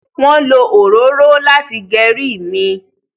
wón ló òróró láti Geri mí.